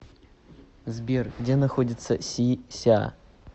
сбер где находится си ся